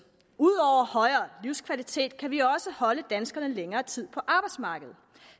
ud over højere livskvalitet kan vi også holde danskerne længere tid på arbejdsmarkedet